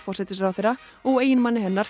forsætisráðherra og eiginmanni hennar